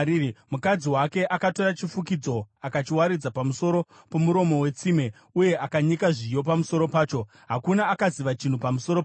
Mukadzi wake akatora chifukidzo akachiwaridza pamusoro pomuromo wetsime uye akayanika zviyo pamusoro pacho. Hakuna akaziva chinhu pamusoro pazvo.